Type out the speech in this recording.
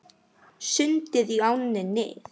Sundið í ánni Nið